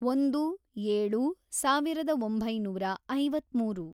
ಒಂದು, ಏಳು, ಸಾವಿರದ ಒಂಬೈನೂರ ಐವತ್ಮೂರು